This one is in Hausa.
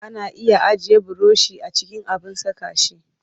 Ana iya ajiye burushi a cikin abin saka shi